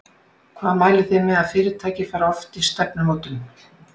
Hvað mælið þið með að fyrirtæki fari oft í stefnumótun?